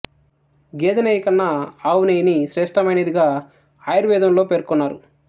గేదె నెయ్యి కన్న ఆవు నెయ్యిని శ్రేష్టమైనదిగా ఆయుర్వేదంలో పెర్కొన్నారు